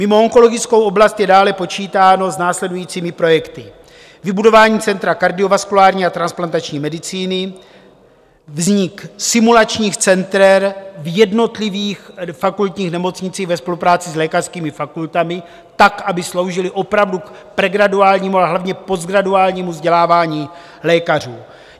Mimo onkologickou oblast je dále počítáno s následujícími projekty: vybudování Centra kardiovaskulární a transplantační medicíny, vznik simulačních center v jednotlivých fakultních nemocnicích ve spolupráci s lékařskými fakultami tak, aby sloužily opravdu k pregraduálnímu, a hlavně postgraduálnímu vzdělávání lékařů.